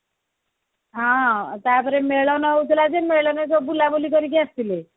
ହଁ ତା ପରେ ମେଳଣ ହଉଥିଲା ଏବେ ମେଳନରେ ବୁଲାବୁଲି କରିକି ଆସିଥୁଲୁ